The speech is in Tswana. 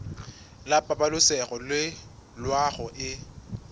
la pabalesego le loago e